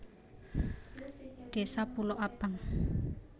Désa Pulo Abang